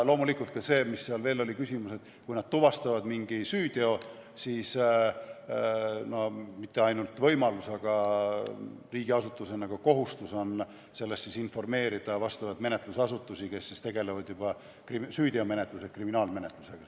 Loomulikult, kui nad tuvastavad mingi süüteo, siis ei ole neil mitte ainult võimalus, vaid on riigiasutusena ka kohustus sellest informeerida vastavaid menetlusasutusi, kes tegelevad juba süüteomenetluse ja kriminaalmenetlusega.